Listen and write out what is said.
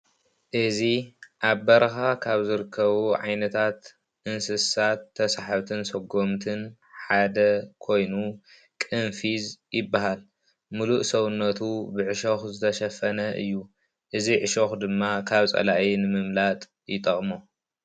እዚ ኣብ በረኻ ካብ ዝርከቡ ዓይነታት እንስሳት ተሰሓብትን ሰጎምትን ሓደ ኮይኑ ቅንፊዝ ይበሃል። ሙሉእ ሰዉነቱ ብዕሾኽ ዝተሸፈነ እዩ። እዚ ዕሾኽ ድማ ካብ ፀላኢ ንምምላጥ ይጠቕሞ።